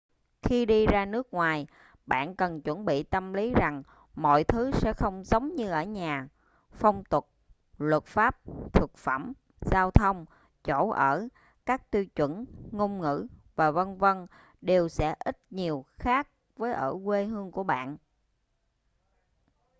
khi đi ra nước ngoài bạn cần chuẩn bị tâm lý rằng mọi thứ sẽ không giống như ở nhà phong tục luật pháp thực phẩm giao thông chỗ ở các tiêu chuẩn ngôn ngữ và v.v. đều sẽ ít nhiều khác với ở quê hương của bạn